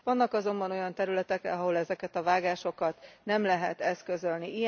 Vannak azonban olyan területek, ahol ezeket a vágásokat nem lehet eszközölni.